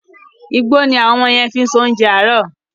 Igbó ni àwọn ọmọ yẹn fi ń ṣe oúnjẹ àárọ̀.